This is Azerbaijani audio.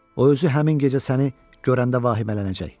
O özü həmin gecə səni görəndə vahimələnəcək.